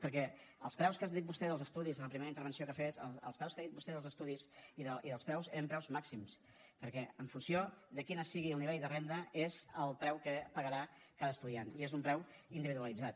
perquè els preus que ha dit vostè dels estudis en la primera intervenció que ha fet els preus que ha dit vostè dels estudis i dels preus eren preus màxims perquè en funció de quin sigui el nivell de renda és el preu que pagarà cada estudiant i és un preu individualitzat